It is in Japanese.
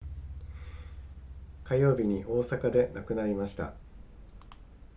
火曜日に大阪で亡くなりました